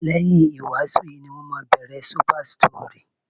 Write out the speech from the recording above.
Lẹ́yìn ìwàásù yìí ní wọ́n máa bẹ̀rẹ̀ Super Story.